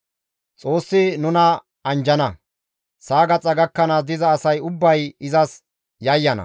Xoossi nuna anjjana; Sa7a gaxa gakkanaas diza asay ubbay izas yayyana.